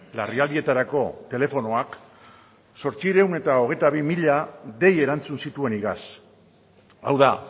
larrialdietarako telefonoak zortziehun eta hogeita hamabi mila dei erantzun zituen iaz hau da